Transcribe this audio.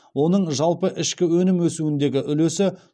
оның жалпы ішкі өнім өсуіндегі үлесі